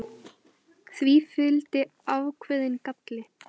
Því fylgdi ákveðinn galli.